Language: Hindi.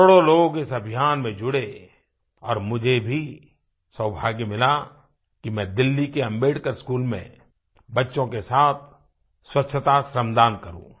करोड़ों लोग इस अभियान में जुड़े और मुझे भी सौभाग्य मिला कि मैं दिल्ली के अम्बेडकर स्कूल में बच्चों के साथ स्वच्छता श्रमदान करूँ